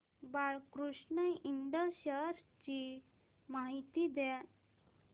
Balkrishna Ind shares ची माहिती द्या